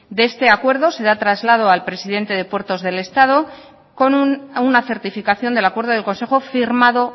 de este acuerdo se da traslado al presidente de puertos del estado con una certificación del acuerdo del consejo firmado